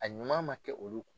A ɲuman ma kɛ olu